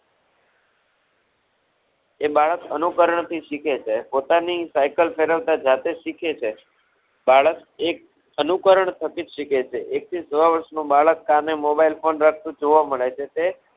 એ બાળક અનુકરણ થી શીખે છે. પોતાની Cycle ફેરવતા જાતે જ શીખે છે. બાળક એક અનુકરણ પર થી જ શીખે છે. એક થી સવા વર્ષ નું બાળક સામે Mobile Phone રાખતું જોવા મળે છે તે